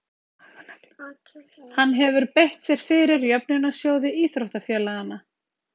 Hann hefur beitt sér fyrir jöfnunarsjóði íþróttafélaganna.